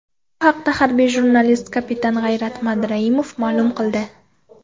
Bu haqda harbiy jurnalist, kapitan G‘ayrat Madrahimov ma’lum qildi.